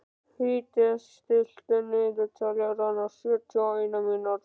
Fídes, stilltu niðurteljara á sjötíu og eina mínútur.